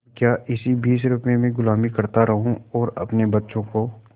अब क्या इसी बीस रुपये में गुलामी करता रहूँ और अपने बच्चों को